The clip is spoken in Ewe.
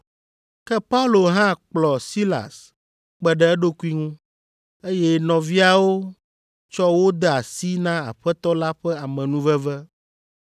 Ke Paulo hã kplɔ Silas kpe ɖe eɖokui ŋu, eye nɔviawo tsɔ wo de asi na Aƒetɔ la ƒe amenuveve.